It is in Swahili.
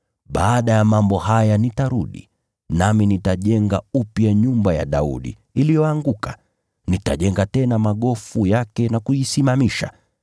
“ ‘Baada ya mambo haya nitarudi, nami nitajenga upya nyumba ya Daudi iliyoanguka. Nitajenga tena magofu yake na kuisimamisha,